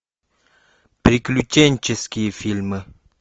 приключенческие фильмы